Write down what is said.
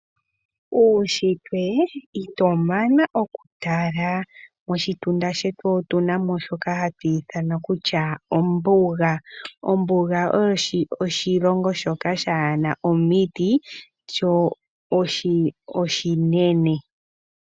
Uushitwe ito mana oku tala, moshitunda shetu otuna mo shoka hatu ithana kutya ombuga, ombuga oyo oshilongo shoka shaana omiti sho oshinene.